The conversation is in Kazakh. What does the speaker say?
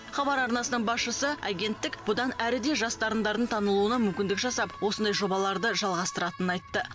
хабар арнасының басшысы агенттік бұдан әрі де жас дарындардың танылуына мүмкіндік жасап осындай жобаларды жалғастыратынын айтты